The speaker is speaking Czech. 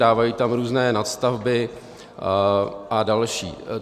Dávají tam různé nadstavby a další.